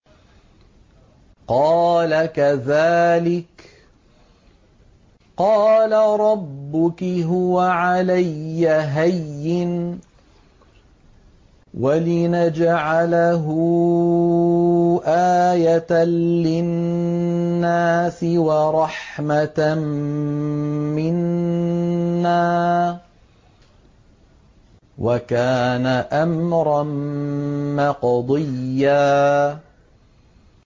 قَالَ كَذَٰلِكِ قَالَ رَبُّكِ هُوَ عَلَيَّ هَيِّنٌ ۖ وَلِنَجْعَلَهُ آيَةً لِّلنَّاسِ وَرَحْمَةً مِّنَّا ۚ وَكَانَ أَمْرًا مَّقْضِيًّا